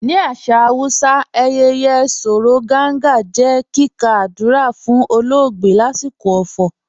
Ni asà Hausà, àyẹyẹ̀ "Sòró Gàngà" jẹ́ kíkà àdúrà fun ọ̀lọ̀ọgbẹ̀ lasikọ ọ̀fọ̀.